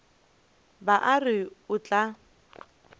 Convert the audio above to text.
ba a re o tla